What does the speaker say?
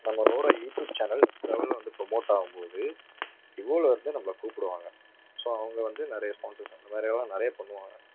நம்மளோட YouTube channel next level ல வந்து promote ஆகும் போது divo ல இருந்து நம்மளை கூப்பிடுவாங்க so அவங்க வந்து நிறைய sponsers வேற யாராவது நிறைய பண்ணுவாங்க.